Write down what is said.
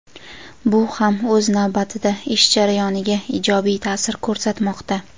Bu ham o‘z navbatida ish jarayoniga ijobiy taʼsir ko‘rsatmoqda.